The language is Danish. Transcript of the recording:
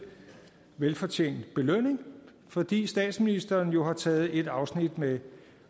velfortjent belønning fordi statsministeren jo har taget et afsnit med